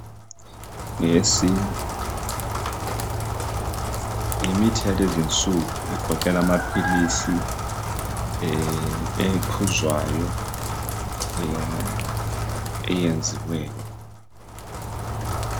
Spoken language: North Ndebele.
Yesi, yimithi yalezinsuku egoqela amaphilisi ephuzwayo eyenziweyo.